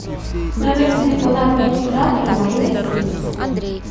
номер телефона администратора моей гостиницы